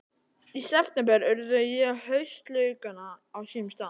Í september urða ég haustlaukana á sínum stað.